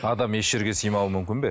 адам еш жерге сыймауы мүмкін бе